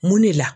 Mun de la